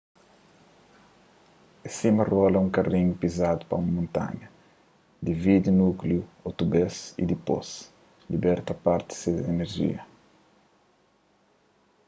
é sima rola un karinhu pizadu pa un montanha dividi núkliu otu bês y dipôs liberta parti des inerjia